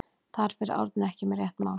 Þar fer Árni ekki með rétt mál.